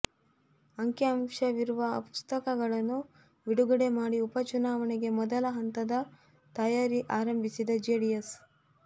ಅಂಕಿಅಂಶವಿರುವ ಪುಸ್ತಕಗಳನ್ನು ಬಿಡುಗಡೆ ಮಾಡಿ ಉಪಚುನಾವಣೆಗೆ ಮೊದಲ ಹಂತದ ತಯಾರಿ ಆರಂಭಿಸಿದ ಜೆಡಿಎಸ್